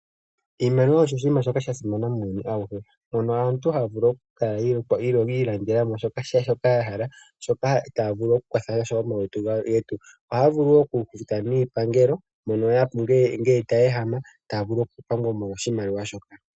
Iimaliwa osho oshinima shoka sha simana muuyuni auhe moka aantu haya kala yi ilandela shoka ya hala shoka taya vulu okukwatha na sho omalutu gawo. Ohaya vulu wo okufuta niipangelo ngele taya ehama taya vulu nokupangwa molwa oshimaliwa shoka.